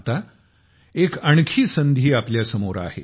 आता एक आणखी संधी आपल्या समोर आहे